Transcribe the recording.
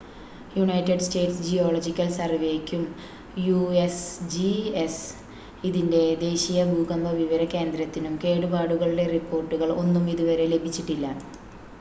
United States geological സർവേയ്ക്കും USGS ഇതിന്റെ ദേശീയ ഭൂകമ്പ വിവര കേന്ദ്രത്തിനും കേടുപാടുകളുടെ റിപ്പോർട്ടുകൾ ഒന്നും ഇതുവരെ ലഭിച്ചിട്ടില്ല